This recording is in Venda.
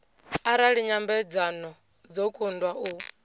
arali nyambedzano dzo kundwa u